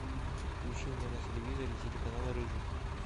включи мне на телевизоре телеканал рыжий